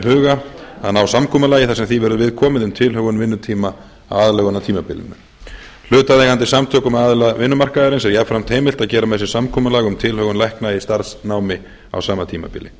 huga að ná samkomulagi þar sem því verður viðkomið um tilhögun vinnutíma á aðlögunartímabilinu hlutaðeigandi samtökum aðila vinnumarkaðarins er jafnframt heimilt að gera með sér samkomulag um tilhögun lækna í starfsnámi á sama tímabili